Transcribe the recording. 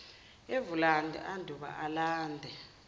evulande anduba alande